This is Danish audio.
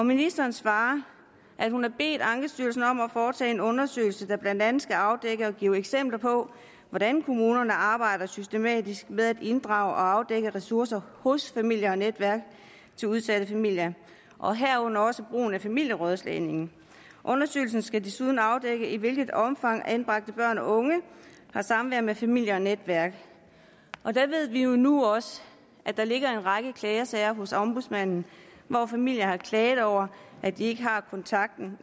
ministeren svarer at hun har bedt ankestyrelsen om at foretage en undersøgelse der blandt andet skal afdække og give eksempler på hvordan kommunerne arbejder systematisk med at inddrage og afdække ressourcer hos familie og netværk til udsatte familier og herunder også brug af familierådslagning undersøgelse skal desuden afdække i hvilket omfang anbragte børn og unge har samvær med familie og netværk der ved vi jo nu også at der ligger en række klagesager hos ombudsmanden hvor familier har klaget over at de ikke har kontakten